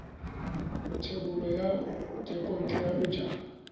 thebolo ya thekontle ya bojalwa